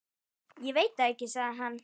Ég veit það ekki, sagði hann.